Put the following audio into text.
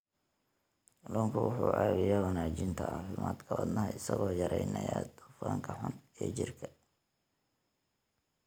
Kalluunku wuxuu caawiyaa wanaajinta caafimaadka wadnaha isagoo yareynaya dufanka xun ee jirka.